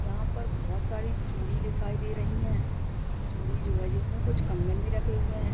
यहाँ पर बोहोत सारी चूड़ी दिखाई दे रहे हैं। चूड़ी जो है जिसमें कुछ कंगन भी रखे हुए हैं।